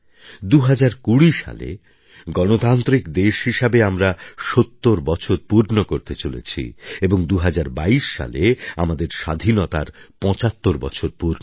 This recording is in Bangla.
২০২০ সালে গণতান্ত্রিক দেশ হিসেবে আমরা ৭০ বছর পূর্ণ করতে চলেছি এবং ২০২২ সালে আমাদের স্বাধীনতার ৭৫ বছর পূর্ণ হবে